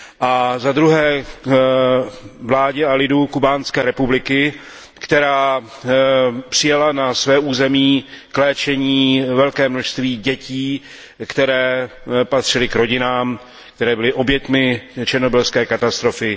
A za druhé vládě a lidu Kubánské republiky, která přijala na své území k léčení velké množství dětí, které patřily k rodinám, které byly oběťmi černobylské katastrofy.